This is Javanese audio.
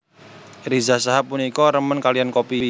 Riza Shahab punika remen kaliyan kopi